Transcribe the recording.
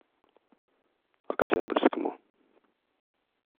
октябрьскому